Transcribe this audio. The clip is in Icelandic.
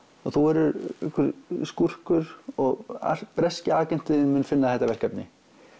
og þú verður einhver skúrkur og breski agentinn þinn mun finna þetta verkefni